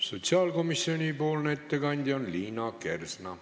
Sotsiaalkomisjoni ettekandja on Liina Kersna.